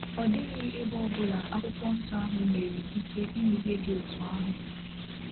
Ọ dịghị ebe ọ ọbụla akwụkwọ nsọ ahụ nyere ikike ime ihe dị otú ahụ.